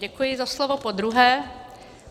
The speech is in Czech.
Děkuji za slovo po druhé.